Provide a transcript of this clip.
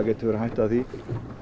verið hætta af því